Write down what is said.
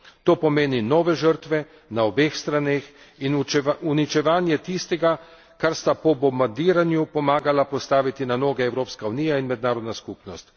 To pomeni nove žrtve na obeh straneh in uničevanje tistega, kar sta po bombardiranju pomagali postaviti na noge Evropska unija in mednarodna skupnost.